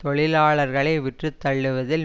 தொழிலாளர்களை விற்று தள்ளுவதில்